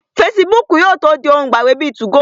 Fesibúùkù yóò tó di ohun ìgbàgbé bíi 2go